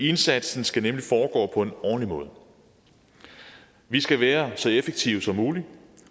indsatsen skal nemlig foregå på en ordentlig måde vi skal være så effektive som muligt